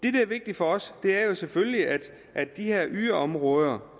er vigtigt for os er jo selvfølgelig at de her yderområder